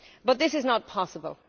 This is not possible.